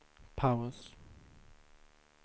paus